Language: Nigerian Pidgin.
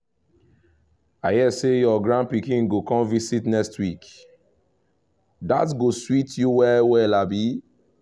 i hear say your grand pikin go come visit next week — that go sweet you well well abi?